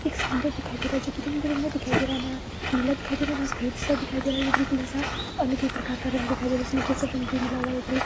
एक समुद्र दिखाई दे रहा है जो की रंग बिरंगा दिखाई दे रहा है ना नीला दिखाई दे रहा है ना सफेद सा दिखाई दे रहा है ये बिल्कुल ऐसा अलग ही प्रकार का रंग दिखाई दे रहा है जिसमें केसर रंग भी मिला हुआ है ऊपर एक--